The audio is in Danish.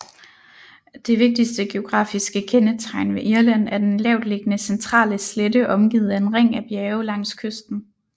Det vigtigste geografiske kendetegn ved Irland er den lavtliggende centrale slette omgivet af en ring af bjerge langs kysten